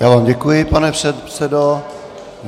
Já vám děkuji, pane předsedo.